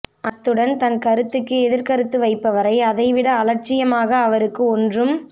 அத்துடன் தன் கருத்துக்கு எதிர்க் கருத்து வைப்பவரை அதைவிட அலட்சியமாக அவருக்கு ஒன்றும்